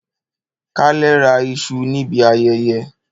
Kalè ra isu nibi ayẹyẹ.